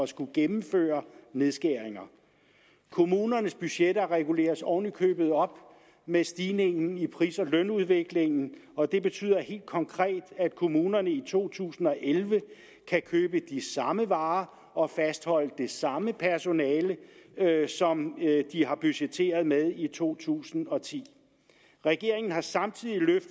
skulle gennemføre nedskæringer kommunernes budgetter reguleres oven i købet op med stigningen i pris og lønudviklingen og det betyder helt konkret at kommunerne i to tusind og elleve kan købe de samme varer og fastholde det samme personale som de har budgetteret med i to tusind og ti regeringen har samtidig